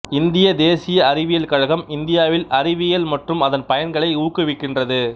இந்திய தேசிய அறிவியல் கழகம் இந்தியாவில் அறிவியல் மற்றும் அதன் பயன்களை ஊக்குவிகின்றது